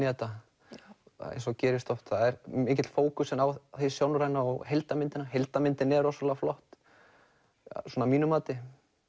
þetta eins og gerist oft það er mikill fókus á hið sjónræna og heildarmyndina heildarmyndin er rosalega flott að mínu mati